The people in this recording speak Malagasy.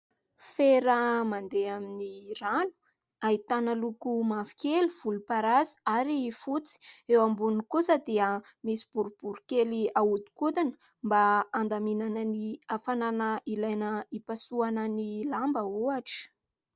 Fera mandeha amin'ny rano ahitana loko mavokely, volomparasy ary fotsy. Eo ambony kosa dia misy borobory kely ahodinkodina mba handaminana ny afanana ilaina hipasohana ny lamba hohatra.